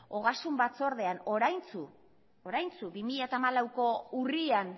ogasun batzordean oraintsu bi mila hamalauko urrian